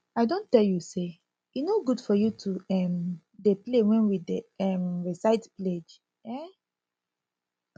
i don tell you say e no good for you to um dey play wen we dey um recite pledge um